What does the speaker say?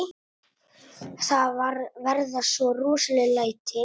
Það verða svo rosaleg læti.